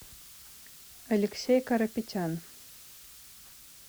алексей карапетян